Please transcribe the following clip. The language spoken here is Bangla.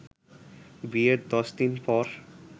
বিয়ের দশ দিন পর